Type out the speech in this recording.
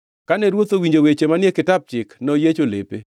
Kane ruoth owinjo weche manie Kitap Chik, noyiecho lepe.